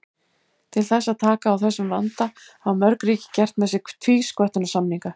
Til þess að taka á þessum vanda hafa mörg ríki gert með sér tvísköttunarsamninga.